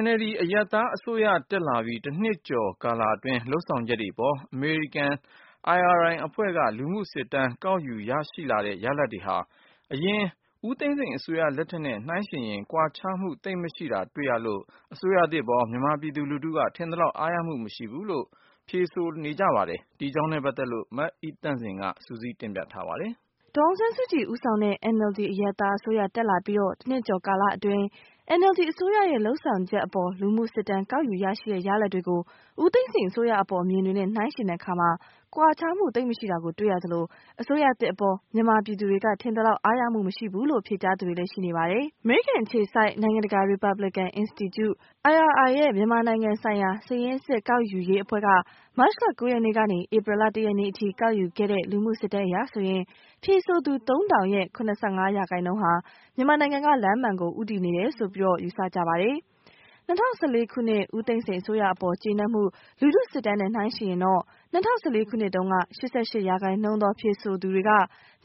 NLD အရပ်သား အစိုးရ တက်လာပြီး ၁ နှစ် ကျော် ကာလအတွင်း လုပ်ဆောင်ချက်တွေ အပေါ် အမေရိကန် IRI အဖွဲ့ က လူမှုစစ်တမ်းကောက်ယူရရှိလာတဲ့ ရလဒ်တွေဟာ အရင်ဦးသိန်းစိန် အစိုးရ လက်ထက်နဲ့ နှိုင်းယှဉ်ရင် ကွာခြားမှု သိပ်မရှိတာ တွေ့ရလို့ အစိုးရသစ်အပေါ် မြန်မာပြည်သူလူထုက ထင်သလောက် အားရမှုမရှိဘူးလို့ ဖြေဆိုနေကြပါတယ်။ ဒီအကြောင်းနဲ့ ပတ်သက်လို့ မအိသန့်စင် က စုစည်း တင်ပြထားပါတယ်။ ဒေါ်အောင်ဆန်းစုကြည် ဦးဆောင်တဲ့ NLD အရပ်သားအစိုးရ တက်လာပြီး တစ်နှစ်ကျော် ကာလအတွင်း NLD အစိုးရရဲ့ လုပ်ဆောင်ချက်အပေါ် လူမှုစစ်တမ်း ကောက်ယူရရှိတဲ့ ရလဒ်တွေကို ဦးသိန်းစိန် အစိုးရအပေါ် အမြင်တွေနဲ့ နှိုင်းယှဉ်တဲ့အခါ ကွာခြားမှု သိပ်မရှိတာ တွေ့ရသလို အစိုးရသစ ်အပေါ် မြန်မာပြည်သူတွေက ထင်သလောက် အားရမှု မရှိဘူးလို့ ဖြေကြားသူတွေလည်း ရှိပါတယ်။ အမေရိကန် အခြေစိုက် နိုင်ငံတကာ ရီပါဘလစ်ကန် အင်စတီကျု IRI ရဲ့မြန်မာနိုင်ငံဆိုင်ရာ စာရင်းစစ် ကောက်ယူရေးအဖွဲ့က မတ် လ ၉ ရက်နေ့က ဧပြီလ ၁ ရက်နေ့အထိ ကောက်ယူခဲ့တဲ့ လူမှုစစ်တမ်းအရ ဖြေဆိုသူ ၃၀၀၀ ရဲ့၇၅ ရာခိုင်နှုန်းက မြန်မာနိုင်ငံက လမ်းမှန်ကို ဦးတည်နေတယ်လို့ ယူဆကြပါတယ်။ ၂၀၁၄ ခုနှစ် ဦးသိန်းစိန် အစိုးရအပေါ် ကျေနပ်မှု လူမှုစစ်တမ်းနဲ့ နှိုင်းယှဉ်ရင် ၂၀၁၄ ခုနှစ်တုန်းက ၈၈ ရာခိုင်နှုန်းသော ဖြေဆိုသူတွေက